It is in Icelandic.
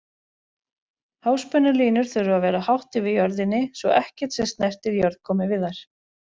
Háspennulínur þurfa að vera hátt yfir jörðinni svo ekkert sem snertir jörð komi við þær.